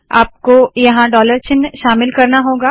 आपको यहाँ डॉलर चिन्ह शामिल करना होगा